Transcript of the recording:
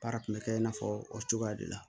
Baara kun bɛ kɛ i n'a fɔ o cogoya de la